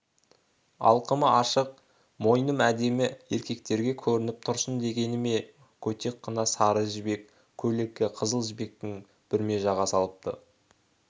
алқымы ашық мойным әдемі еркектерге көрініп тұрсын дегені ме көтек қына сары жібек көйлекке қызыл жібектен бүрме жаға салыпты